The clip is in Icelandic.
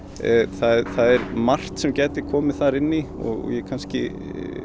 það er margt sem gæti komið þar inn og ég kannski